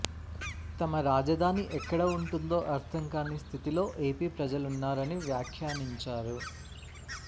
తమ రాజధాని ఎక్కడ ఉంటుందో అర్థంకాని స్థితిలో ఏపీ ప్రజలున్నారని వ్యాఖ్యానించారు